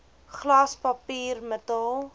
glas papier metaal